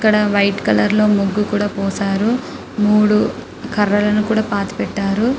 ఇక్కడ white colour లో ముగ్గు కూడా పోశారు మూడు కర్రలను కూడా పాతి పెట్టారు.